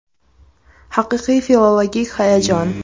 Haqiqiy filologik hayajon.